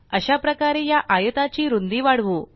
अशाप्रकारे या आयताची रुंदी वाढवू